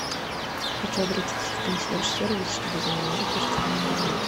хочу обратиться в консьерж сервис чтобы заменили постельное белье